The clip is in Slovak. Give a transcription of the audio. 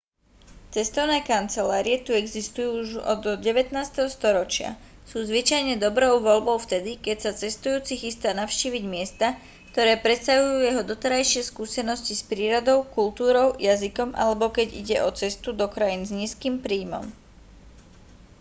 cestovné kancelárie tu existujú už od 19. storočia sú zvyčajne dobrou voľbou vtedy keď sa cestujúci chystá navštíviť miesta ktoré presahujú jeho doterajšie skúsenosti s prírodou kultúrou jazykom alebo keď ide o cestu do krajín s nízkym príjmom